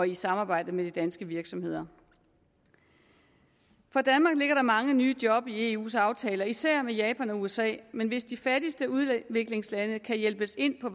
i samarbejde med de danske virksomheder for danmark ligger der mange nye job i eus aftaler med især japan og usa men hvis de fattigste udviklingslande kan hjælpes ind på